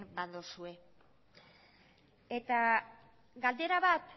badozue eta galdera bat